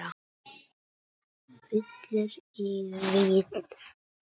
Villur í ritsmíð bæta má.